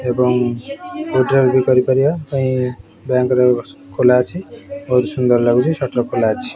ଏବଂ କୋଉଥିରେ ଭି କରିପାରିବା ପାଇଁ ବ୍ୟାଙ୍କ ବି ଖୋଲା ଅଛି ବହୁତ୍ ସୁନ୍ଦର୍ ଲାଗୁଅଛି ସଟର ବି ଖୋଲା ଅଛି।